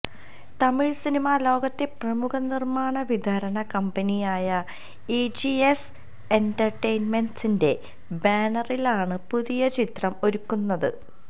Tamil cinema ലോകത്തെ പ്രമുഖ നിര്മ്മാണവിതരണ കമ്പനിയായ എജിഎസ് എന്റര്ടടൈന്മെന്റ്സിന്റെ ബാനറിലാണ് പുതിയ ചിത്രം ഒരുക്കുന്നത്